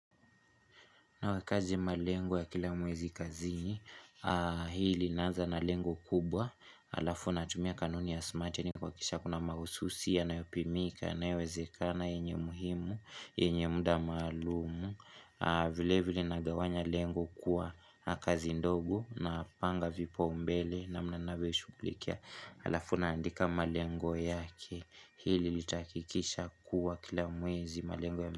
Nawe kazi malengo ya kila mwezi kazi, hii linaaza na lengo kubwa, alafu natumia kanuni ya smatini kuhakikisha kuna mahususi yanayopimika, yanawezeka yenye muhimu, yenye mda maalumu, vile vile nagawanya lengo kuwa kazi ndogo napanga vipau mbele namna nanyo ishughulikia, alafu naandika malengo yake, hili litahakikisha kuwa kila mwezi malengo ya.